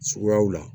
Suguyaw la